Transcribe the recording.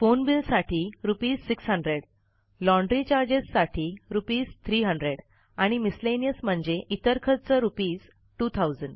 phone बिलसाठी रू६०० laundry चार्जेससाठी रू३०० आणि मिसलेनियस म्हणजे इतर खर्च रू२०००